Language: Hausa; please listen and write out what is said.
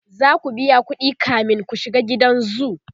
zaku biya ƙuɗi kamin ku shiga gidan zoo